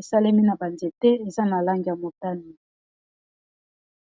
esalemi na banzete eza na langi ya motani.